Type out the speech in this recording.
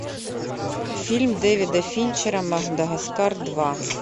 фильм дэвида финчера мадагаскар два